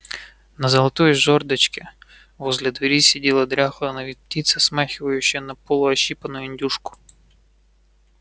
на золотой жёрдочке возле двери сидела дряхлая на вид птица смахивающая на полу ощипанную индюшку